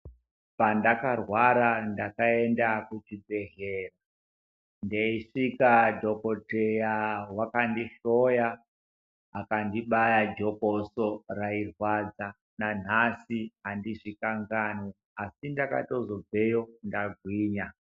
Pandakarwara ndakasvika dhokodheya waka ndihloya kandibaya jokoso rairwadza nanhasi handizvi kanganwi asi ndakazobveyo ndagwinya.